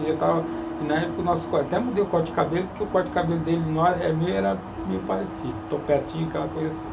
E eu estava... E, na época, até mudei o corte de cabelo, porque o corte de cabelo dele era meio parecido, topetinho, aquela coisa toda.